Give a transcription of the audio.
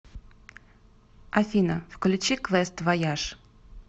афина включи квест вояж